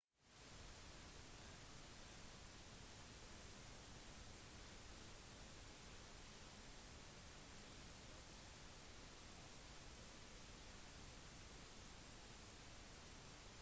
en annen ulempe med zoomobjektiv er at maksimal blenderåpning hastigheten for linsen som regel er mindre